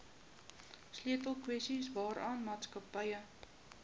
sleutelkwessies waaraan maatskappye